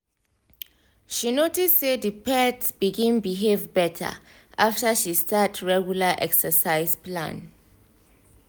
she notice say the pet begin behave better after she start regular exercise plan